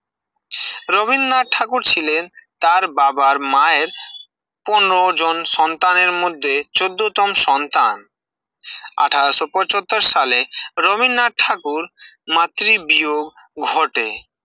রবীন্দ্রনাথ ঠাকুর ছিলেন তার বাবার মায়ের পনের জন সন্তান এর মধ্যে চোদ্দ তন সন্তান আঠাশ ও পচট্টর সালে রবীন্দ্রনাথ ঠাকুর মাতৃবীয় ঘটে